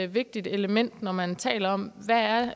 vigtigt element når man taler om hvad